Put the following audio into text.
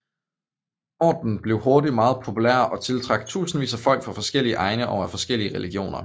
Ordenen blev hurtigt meget populær og tiltrak tusindvis af folk fra forskellige egne og af forskellige religioner